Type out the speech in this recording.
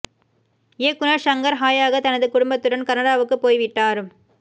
இயக்குநர் ஷங்கர் ஹாயாக தனது குடும்பத்துடன் கனடாவுக்குப் போய் விட்டார்